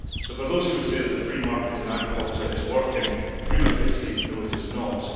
So to those who would say that the free market in agriculture is working well, prima facie, no it is not.